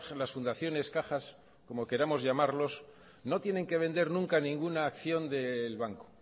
las fundaciones cajas como queramos llamarlos no tienen que vender nunca ninguna acción del banco o